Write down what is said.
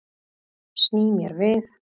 Sný mér við.